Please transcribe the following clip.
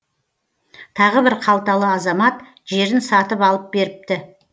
тағы бір қалталы азамат жерін сатып алып беріпті